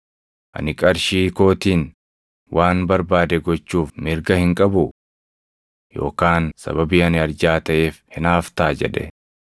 Ani qarshii kootiin waan barbaade gochuuf mirga hin qabuu? Yookaan sababii ani arjaa taʼeef hinaaftaa?’ jedhe.